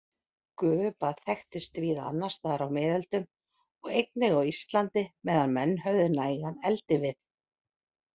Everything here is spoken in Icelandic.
Gufubað þekktist víða annarstaðar á miðöldum og einnig á Íslandi meðan menn höfðu nægan eldivið.